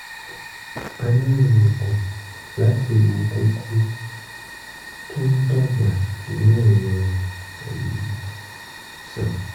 a nílò oògùn láti wo kókó tó ń dàgbà ní ẹ̀yìn ọrùn um sàn